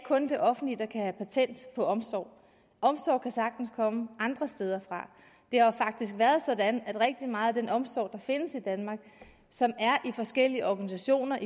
det offentlige ikke har patent på omsorg omsorg kan sagtens komme andre steder fra det har jo faktisk været sådan at rigtig meget af den omsorg der findes i danmark og som er i forskellige organisationer